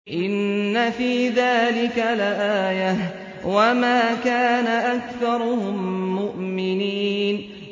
إِنَّ فِي ذَٰلِكَ لَآيَةً ۖ وَمَا كَانَ أَكْثَرُهُم مُّؤْمِنِينَ